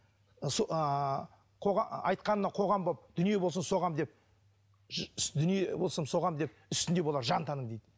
айтқанына қоғам боп дүние болсын соғамын деп дүние болсын соғамын деп үстінде болар жан тәнің дейді